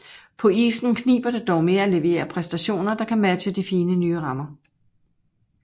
På isen kniber det dog med at levere præstationer der kan matche de fine nye rammer